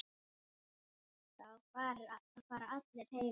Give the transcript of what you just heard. Þá fara allir heim.